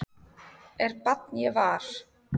er barn ég var